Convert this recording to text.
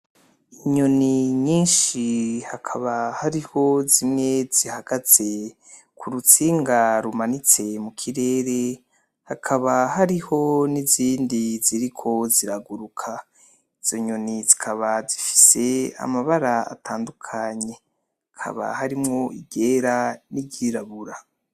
Inyoni nyinshi hakaba hariho zimwe zihagaze kurutsinga rumanitse mu kirere hakaba hariho n'izindi ziriko ziraguruka, izo nyoni zikaba zifise amabara atandukanye hakaba harimwo iryera niry'irabura.